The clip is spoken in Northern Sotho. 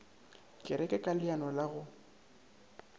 kereke ka leano la go